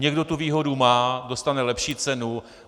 Někdo tu výhodu má, dostane lepší cenu.